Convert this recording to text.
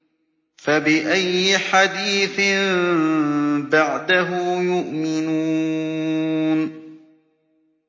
فَبِأَيِّ حَدِيثٍ بَعْدَهُ يُؤْمِنُونَ